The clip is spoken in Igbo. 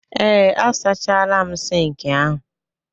ee, a sachala m Sink ahu